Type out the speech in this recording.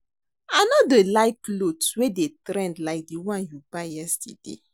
I no dey like cloth wey dey trend like the one you buy yesterday